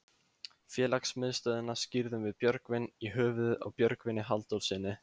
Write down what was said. Félagsmiðstöðina skírðum við Björgvin í höfuðið á Björgvini Halldórssyni.